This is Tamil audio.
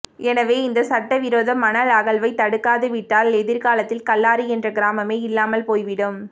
எனவே இந்த சட்டவிரோத மணல் அகழ்வை தடுக்காது விட்டால் எதிர்காலத்தில் கல்லாறு என்ற கிராமமே இல்லாமல் போய்விடும்